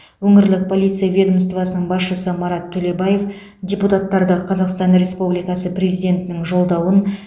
өңірлік полиция ведомствосының басшысы марат төлебаев депутаттарды қазақстан республикасы президентінің жолдауын